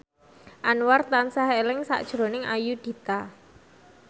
Anwar tansah eling sakjroning Ayudhita